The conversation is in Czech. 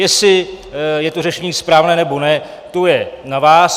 Jestli je to řešení správné, nebo ne, to je na vás.